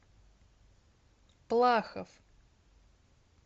плахов